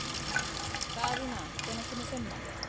Daðína, hvenær kemur fimman?